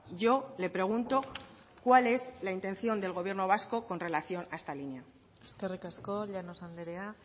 yo le pregunto cuál es la intención del gobierno vasco con relación a esta línea eskerrik asko llanos andrea